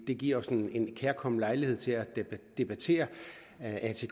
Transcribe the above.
det giver os en kærkommen lejlighed til at debattere atk